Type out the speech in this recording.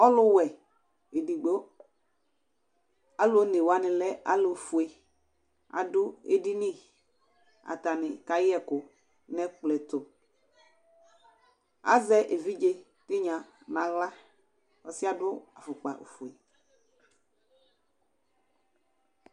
Ɔlʋwɛ edogbo, alʋ onewani lɛ ɔlʋfue adʋ edini, atani kayɛ ɛkʋ nʋ ɛkplɔ ɛtʋ Azɛ evidze tinya nʋ aɣla, ɔsɩ yɛ adʋ afʋkpafue